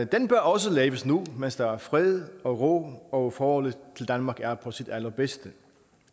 den bør også laves nu mens der er fred og ro og forholdet til danmark er på sit allerbedste